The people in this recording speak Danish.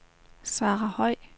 Sara Høj